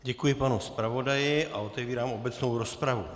Děkuji panu zpravodaji a otevírám obecnou rozpravu.